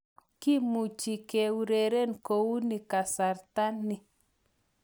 Kimuchi keureren kouni kasarta ni